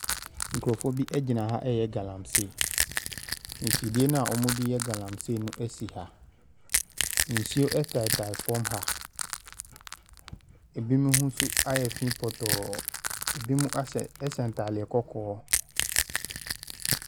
Nkurɔfo bi gyina ha ɛreyɛ galamsey. Mfidie no a wɔde yɛ galamsey no si ha. Nsuo taatae famu ha. Binom ho nso ayɛ fii pɔtɔɔ, binom ahyɛ ɛhyɛ ntaade kɔkɔɔ.